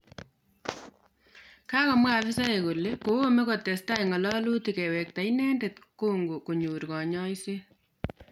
Kagomwa afisaek kole koome kotesetai ngalalyutik kewekta inendet congo konyor kanyaiset